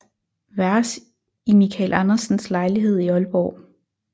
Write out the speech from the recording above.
Vers i Michael Andersens lejlighed i Aalborg